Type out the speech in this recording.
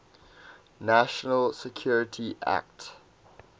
national security act